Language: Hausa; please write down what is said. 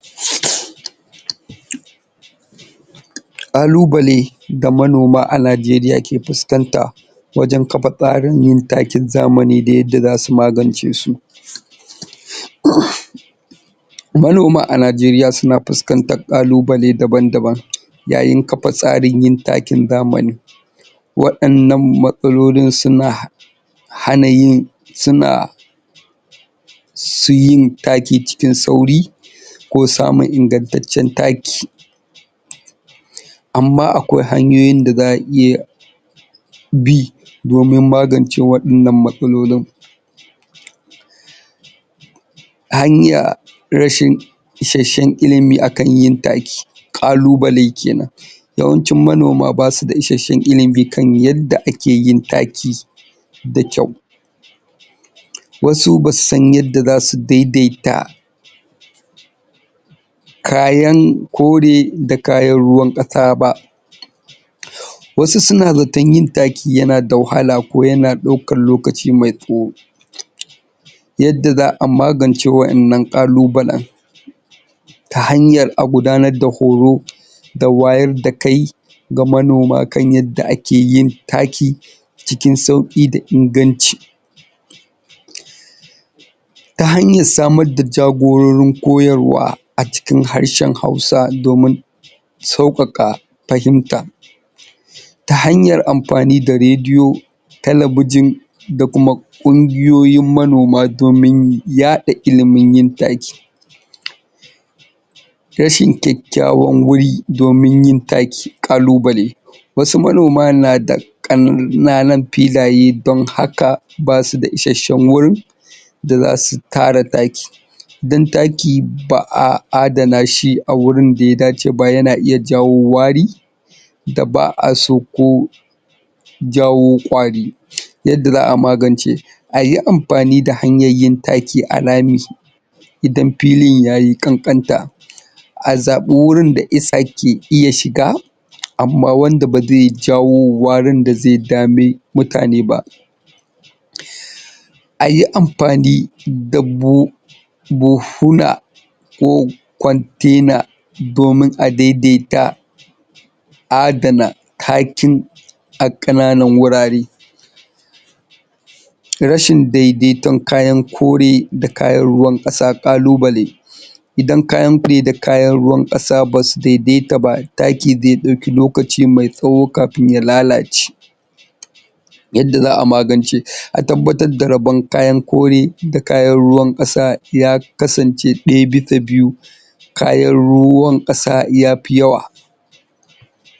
Ƙalubale da manoma a najeriya suke fuskanta wajan kafa tsarin yin takin zamani da yadda zasu magance su um manoma a najeriya suna fuskantan ƙalubale daban-daban yayin kafa tsarin yin takin zamani waɗannan matsalolin suna hana yin suna su yin taki cikin sauri ko samun ingattaccen taki amma akwai hanyoyin da za'a iya bi domin magance waɗannan matsalolin hanya rashin ishashshen ilimi akan yin taki ƙalubale kenan yawancin manoma basu da ishashshen ilimi kan yadda akeyin taki da kyau wasu basu san yadda zasu daidaita kayan kore da kayan ruwan ƙasa um wasu suna zaton yin taki yanada wahala ko yana ɗaukan lokaci mai tsawo yanda za'a magance wa'innan ƙalubalen ta hanyar a gudanar da horo da wayar da kai ga manoma kan yadda ake yin taki cikin sauƙi da inganci ta hanyar samar da jagororin koyarwa acikin harshen hausa domin sauƙaƙa fahimta ta hanyar amfani da radiyo talabijin da kuma ƙungiyoyin manoma domin yaɗa ilimin yin taki rashin kyakkyawan wuri domin yin taki ƙalubale wasu manoma na da ƙan..naanan filaye don haka basu da ishashshen wurin da zasu tara taki dan taki ba'a adana shi a wurin daya dace ba yana iya jawo wari da ba'a so ko jawo ƙwari yadda za'a magance ayi amfani da hanyan yin taki a rami idan filin yayi ƙanƙanta a zaɓi wurin da iska yake iya shiga amma wanda bazai jawo warin da zai dame mutane ba um ayi amfani da buhu buhuna ko kwantaina domin a daidaita adana takin a ƙananan wurare rashin daidaiton kayan kore da kayan ruwan ƙasa ƙalubale idan kayan fiye da kayan ruwan ƙasa basu daidaita ba taki zai ɗauki lokaci mai tsawo kafin ya lalace yanda za'a magance, a tabbatar da rabon kayan kore da kayan ruwan ƙasa ya kasance ɗebi ta biyu kayan ruwan ƙasa yafi yawa.